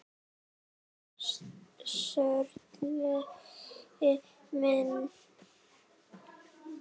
Sörli minn!